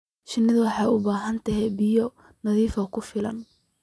Shinnidu waxay u baahan tahay biyo nadiif ah oo ku filan.